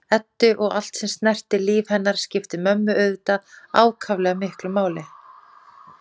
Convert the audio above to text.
Eddu og allt sem snerti líf hennar skipti mömmu auðvitað ákaflega miklu máli.